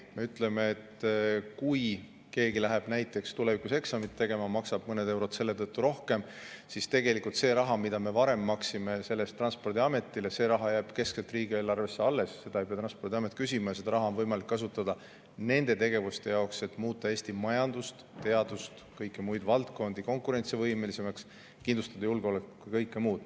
Me ütleme, et kui keegi läheb näiteks tulevikus eksamit tegema, maksab mõned eurod selle tõttu rohkem, siis tegelikult see raha, mida me varem maksime selle eest Transpordiametile, jääb keskselt riigieelarvesse alles, seda ei pea Transpordiamet küsima, ja seda raha on võimalik kasutada nendeks tegevusteks, millega muuta Eesti majandust, teadust ja muid valdkondi konkurentsivõimelisemaks, kindlustada julgeolekut ja kõike muud.